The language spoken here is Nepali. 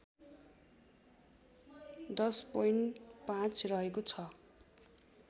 १०.५ रहेको छ